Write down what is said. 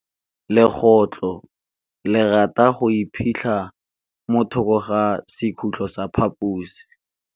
Legôtlô le rata go iphitlha mo thokô ga sekhutlo sa phaposi.